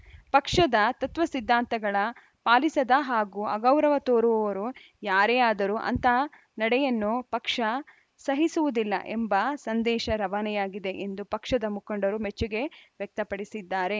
ಪಕ್ಷದ ತತ್ವ ಸಿದ್ಧಾಂತಗಳ ಪಾಲಿಸದ ಹಾಗೂ ಅಗೌರವ ತೋರುವವರು ಯಾರೇ ಆದರೂ ಅಂಥ ನಡೆಯನ್ನು ಪಕ್ಷ ಸಹಿಸುವುದಿಲ್ಲ ಎಂಬ ಸಂದೇಶ ರವಾನೆಯಾಗಿದೆ ಎಂದು ಪಕ್ಷದ ಮುಖಂಡರು ಮೆಚ್ಚುಗೆ ವ್ಯಕ್ತಪಡಿಸಿದ್ದಾರೆ